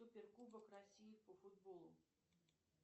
супер кубок россии по футболу